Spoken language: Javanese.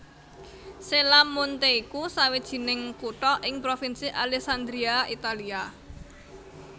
Cella Monte iku sawijining kutha ing Provinsi Alessandria Italia